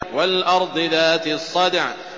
وَالْأَرْضِ ذَاتِ الصَّدْعِ